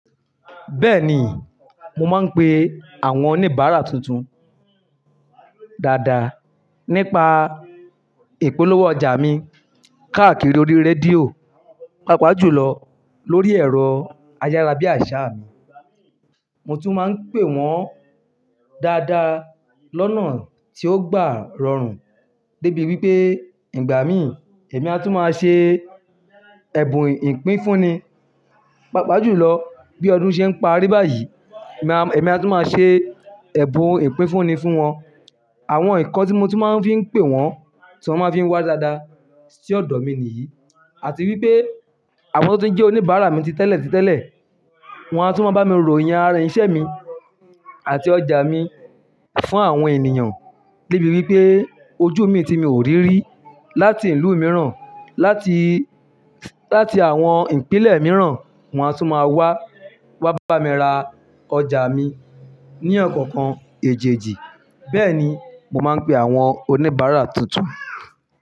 Bẹ́ẹ̀ni, mo máa ń pe àwọn oníbàárà tuntun dáadáa nípa ìpolówó ọjà mi káàkiri orí rédíò, pàápàá jùlọ lórí ẹ̀rọ ayárabíàṣá mi. Mo tún máa ń pe wọ́n dáadáa lọ́nà tí ó gbà rọrùn débi wípé ìgbà mí, èmi a tún máa ṣe ẹ̀bùn ìpínfúnni, pàápàá jùlọ bí ọdún ṣe ń parí báyìí, èmi a tún máa ṣe ẹ̀bùn ìpínfúnni fún wọn. Àwọn nǹkan tí mo tún máa ń fi ń pe wọ́n tí wọ́n máa ń fi wá dáadáa sí ọ̀dọ̀ mi nìyí. Àti wípé àwọn tó ń jẹ́ oníbàárà mi ti tẹ́lẹ̀ ti tẹ́lẹ̀, wọ́n a tún máa bá mi ròyàn ara iṣẹ́ mi àti ọjà mi fún àwọn ènìyàn débi wípé ojú mi ti mi ò rí rí. Láti ìlú mìíràn, láti, láti àwọn ìpínlẹ̀ mìíràn, wọ́n a tún máa wá, wá bá mi ra ọjà mi ní ọ̀kọ̀ọ̀kan èjijì. Bẹ́ẹ̀ni, mo máa ń pe àwọn oníbàárà tuntun.